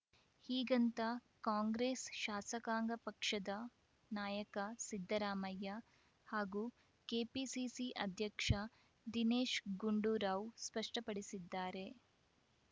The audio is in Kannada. ಹೀಗಂತ ಕಾಂಗ್ರೆಸ್‌ ಶಾಸಕಾಂಗ ಪಕ್ಷದ ನಾಯಕ ಸಿದ್ದರಾಮಯ್ಯ ಹಾಗೂ ಕೆಪಿಸಿಸಿ ಅಧ್ಯಕ್ಷ ದಿನೇಶ್‌ ಗುಂಡೂರಾವ್‌ ಸ್ಪಷ್ಟಪಡಿಸಿದ್ದಾರೆ